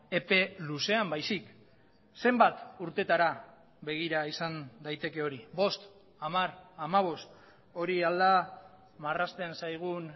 epe luzean baizik zenbat urtetara begira izan daiteke hori bost hamar hamabost hori al da marrazten zaigun